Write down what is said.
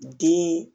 Den